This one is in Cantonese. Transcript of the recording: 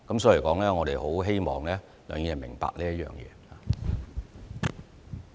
所以，我們很希望梁議員明白這一點。